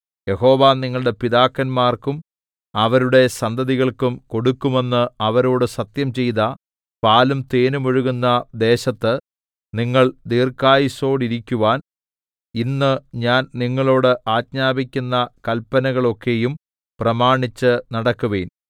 യഹോവ നിങ്ങളുടെ പിതാക്കന്മാർക്കും അവരുടെ സന്തതികൾക്കും കൊടുക്കുമെന്ന് അവരോട് സത്യംചെയ്ത പാലും തേനും ഒഴുകുന്ന ദേശത്ത് നിങ്ങൾ ദീർഘായുസ്സോടിരിക്കുവാൻ ഇന്ന് ഞാൻ നിങ്ങളോട് ആജ്ഞാപിക്കുന്ന കല്പനകളൊക്കെയും പ്രമാണിച്ച് നടക്കുവിൻ